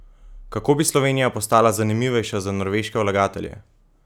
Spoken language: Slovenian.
Kako bi Slovenija postala zanimivejša za norveške vlagatelje?